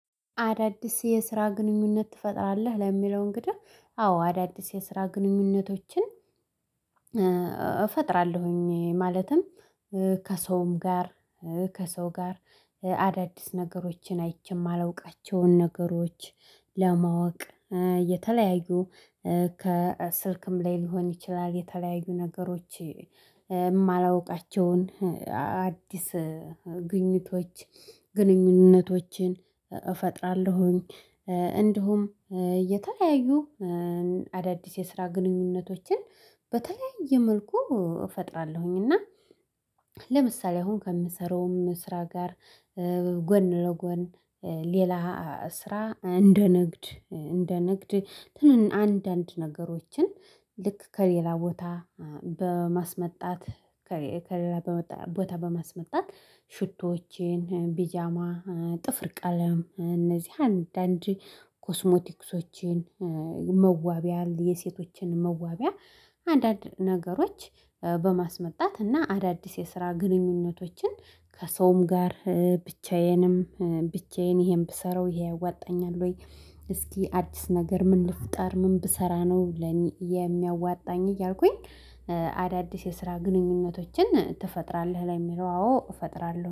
አዳዲስ የስራ ግንኙነት ትፈጥራለህ? ለሚለው እንግዲህ አዎ አዳዲስ የስራ ግንኙነቶችን። እፈጥራለሁኝ ማለትም። ከሰውም ጋር ከሰው ጋር አዳዲስ ነገሮችን አይቼ የማላውቃቸውን ነገሮች። ለማወቅ የተለያዩ ከስልክም ላይ ሊሆን ይችላል። የተለያዩ ነገሮች የማላውቃቸውን አዲስ ግኝቶች ግንኙነቶችን እፈጥራለሁኝ። እንዲሁም የተለያዩ አዳዲስ የስራ ግንኙነቶችን በተለያየ መልኩ እፈጥራለሁኝ። እና ለምሳሌ አሁን ከምሰራውም ስራ ጋር ጎን ለጎን ሌላ ስራ እንደ ንግድ እንደ ንግድ ትንን አንዳንድ ነገሮችን ልክ ከሌላ ቦታ በማስመጣት። ከሌላ ቦታ በመስመጣት ሽቶዎቼን ቢጃማ ጥፍር ቀለም እነዚህ አንዳንድ ኮስሞቲክሶችን መዋቢያ የሴቶችን መዋቢያ። አንዳንድ ነገሮች በማስመጣት እና አዳዲስ የስራ ግንኙነቶችን ከሰውም ጋር ብቻዬንም ብቻዬን ይሄን ብሰራው ይሄ ዋጣኛል? ወይ እስኪ አዲስ ነገር ምን ልፍጣር ምን ብሰራ ነው? ለኔ የሚያዋጣኝ እያልኩኝ። አዳዲስ የስራ ግንኙነቶችን ትፈጥራለህ? ላይ የሚለው አዎ እፈጥራለሁ